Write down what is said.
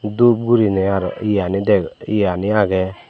dhup guriney aroh eyani dek eyani ageh.